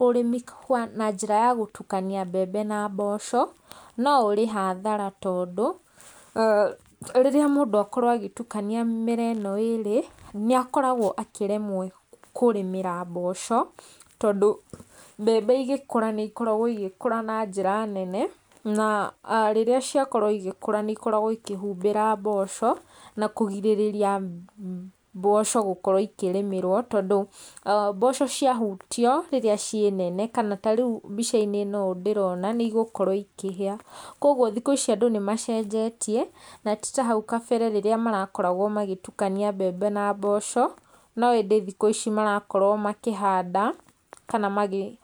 Ũrĩmi wa na njĩra ya gũtukania mbembe na mboco, no ũrĩ hathara tondũ rĩrĩa mũndũ akorwo agĩtukania mĩmera ĩno ĩĩrĩ nĩ akoragwo akĩremwo kũrĩmĩra mboco, tondũ mbembe igĩkũra nĩ ikoragwo igĩkũra na njĩra nene na rĩrĩa ciakorwo igĩkũra nĩ ikoragwo ikĩhumbĩra mboco na kũgirĩrĩria mboco gũkorwo ikĩrĩmĩrwo. Tondũ mboco ciahutio rĩrĩa ciĩ nene kana ta rĩu mbica-inĩ ĩno ũũ ndĩrona nĩ igũkorwo ikĩhĩa. Koguo thikũ ici andũ nĩ macenjetie, na ti ta hau kabere rĩrĩa marakoragwo magĩtukania mbembe na mboco, no ĩndĩ thikũ ici marakorwo makĩhanda kana magĩ...